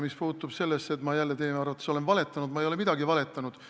Mis puutub sellesse, et ma jälle teie arvates olen valetanud, siis ma ei ole midagi valetanud.